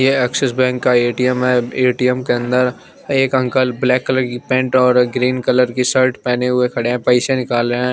ये Axis bank का ATM है ए_टी_एम के अंदर एक अंकल ब्लैक कलर की पैंट और ग्रीन कलर की शर्ट पहने हुए खड़े हैं पैसे निकाल रहे हैं।